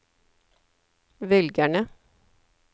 velgerne